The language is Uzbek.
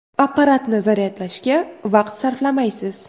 Apparatni zaryadlashga vaqt sarflamaysiz!